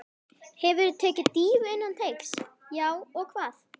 Hefurðu tekið dýfu innan teigs: Já og hvað?